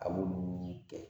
A b'olu kɛ